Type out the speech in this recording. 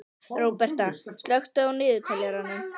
Róberta, slökktu á niðurteljaranum.